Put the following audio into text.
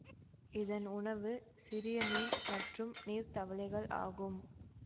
இதன் உணவு சிறிய மீன் மற்றும் நீர் தவளைகள் ஆகும்